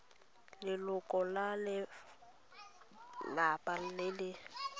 leloko la lelapa le le